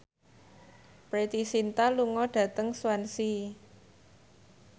Preity Zinta lunga dhateng Swansea